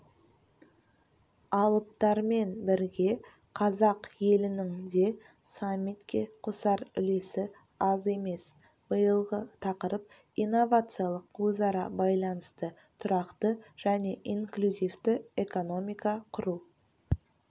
алыптармен бірге қазақ елінің де саммитке қосар үлесі аз емес биылғы тақырып инновациялық өзара байланысты тұрақты және инклюзивті экономика құру